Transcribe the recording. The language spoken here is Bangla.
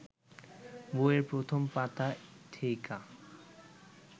বইএর প্রথম পাতা থেইকা